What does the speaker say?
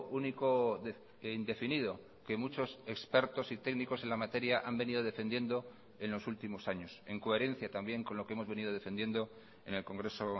único indefinido que muchos expertos y técnicos en la materia han venido defendiendo en los últimos años en coherencia también con lo que hemos venido defendiendo en el congreso